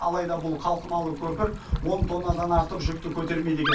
алайда бұл қалқымалы көпір он тоннадан артық жүкті көтермейді екен